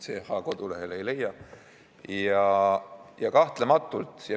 ch lehelt ei leia.